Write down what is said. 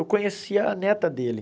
Eu conheci a neta dele.